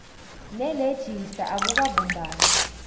nerejista akukabumbani